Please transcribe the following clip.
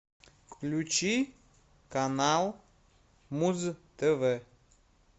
включи канал муз тв